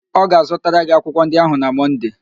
Ọ ga-azụtara gị akwụkwọ ndị ahụ na Mọnde